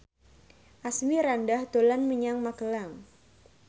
Asmirandah dolan menyang Magelang